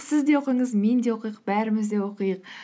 сіз де оқыңыз мен де оқиық бәріміз де оқиық